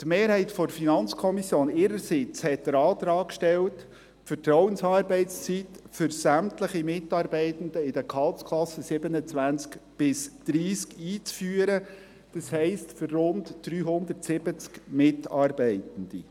Die Mehrheit der FiKo hat ihrerseits den Antrag gestellt, die Vertrauensarbeitszeit für sämtliche Mitarbeitende in den Gehaltsklassen 27–30 einzuführen, das heisst, für rund 370 Mitarbeitende.